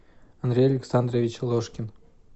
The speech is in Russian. андрей александрович ложкин